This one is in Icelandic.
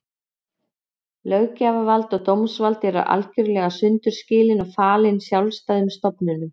Löggjafarvald og dómsvald voru algerlega sundur skilin og falin sjálfstæðum stofnunum.